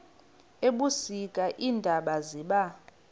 ebusika iintaba ziba